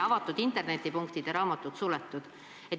Avalikud internetipunktid ja raamatukogud olid suletud.